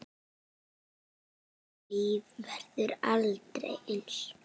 Þeirra líf verður aldrei eins.